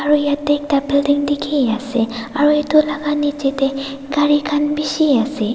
aro yetey ekta building dikhi ase aru itu laga niche tey gari khan bishi ase.